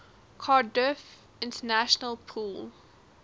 cardiff international pool